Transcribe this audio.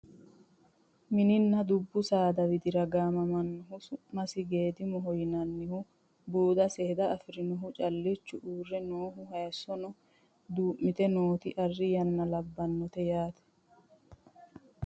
Mininna dubbu saada widira gaamamannoha su'masi geedimoho yinanniha buuda seeda afirinoha callichu uurre nooha hayeessono duu'mite noota arri yanna labbannote yaate